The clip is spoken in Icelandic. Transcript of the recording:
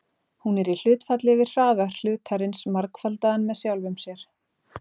Hún er í hlutfalli við hraða hlutarins margfaldaðan með sjálfum sér.